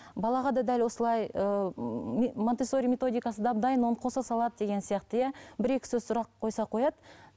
балаға да дәл осылай ыыы монтессори методикасы дап дайын оны қоса салады деген сияқты иә бір екі сөз сұрақ қойса қояды